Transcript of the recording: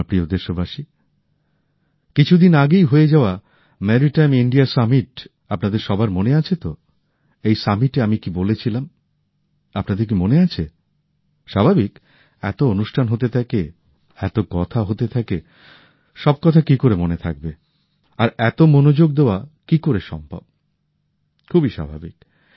আমার প্রিয় দেশবাসী কিছুদিন আগেই হয়ে যাওয়া ম্যারিটাইম ইন্ডিয়া সামিটের কথা আপনাদের সবার মনে আছে তো এই শীর্ষ সম্মেলনে আমি কি বলেছিলাম আপনাদের কি মনে আছে স্বাভাবিক যে এতো অনুষ্ঠান হতে থাকে এত কথা হতে থাকে সব কথা কি করে মনে থাকবে আর এত মনোযোগ দেওয়া কি করে সম্ভব খুবই স্বাভাবিক